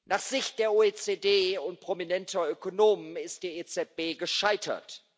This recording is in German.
Nach Sicht der OECD und prominenter Ökonomen ist die EZB gescheitert.